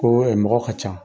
Ko we mɔgɔ ka can